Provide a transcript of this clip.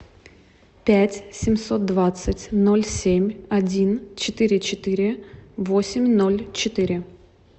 пять семьсот двадцать ноль семь один четыре четыре восемь ноль четыре